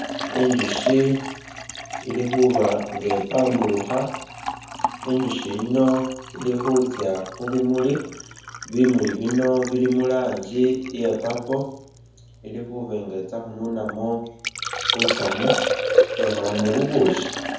Inzushi ili khuba nga ipamburukha, inzusyi yino ili khutsya khu bimuli, bimuli bino bili mu rangi ya purple, ili khuba nga itsya khununamu butsamu itsye ikholemu bubusyi.